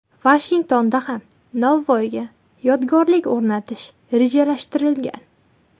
Vashingtonda ham Navoiyga yodgorlik o‘rnatish rejalashtirilgan.